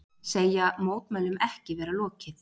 Segja mótmælum ekki vera lokið